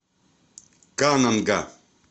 кананга